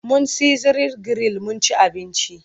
Mun sizlin giril mun ci abinci.